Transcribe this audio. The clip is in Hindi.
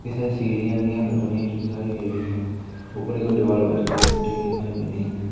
कई सारी सीरियां वीडियां लग बनी हुई दिखाई दे रही हैं ऊपर की ओर दीवाल वाइट कलर की पुती हुई दिखाई दे रही हैं।